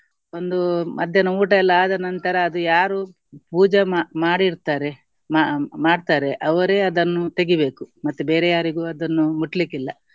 ಒಂದು ಮಧ್ಯಾನ ಊಟ ಎಲ್ಲ ಆದ ನಂತರ ಅದು ಯಾರು ಪೂಜೆ ಮಾ~ ಮಾಡಿಡ್ತಾರೆ ಮ~ ಮಾಡ್ತಾರೆ ಅವರೇ ಅದನ್ನು ತೆಗಿಬೇಕು ಮತ್ತೆ ಬೇರೆ ಯಾರಿಗೂ ಅದನ್ನು ಮುಟ್ಲಿಕ್ಕಿಲ್ಲ.